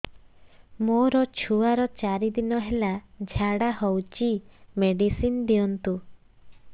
ମୋର ଛୁଆର ଚାରି ଦିନ ହେଲା ଝାଡା ହଉଚି ମେଡିସିନ ଦିଅନ୍ତୁ